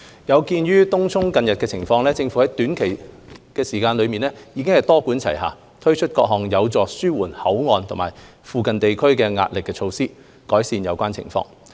有見東涌近日的情況，政府在短時間內多管齊下，推出各項有助紓緩口岸和附近地區壓力的措施，改善有關情況。